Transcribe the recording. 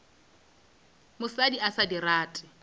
mosadi a sa di rate